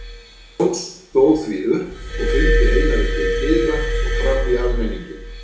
Jón stóð því upp og fylgdi Einari til dyra og fram í almenninginn.